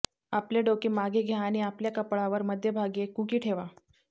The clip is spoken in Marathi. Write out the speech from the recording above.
आपले डोके मागे घ्या आणि आपल्या कपाळावर मध्यभागी एक कुकी ठेवा